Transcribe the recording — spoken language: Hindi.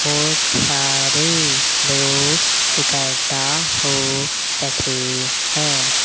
बहोत सारे लोग इकट्ठा हो रखे है।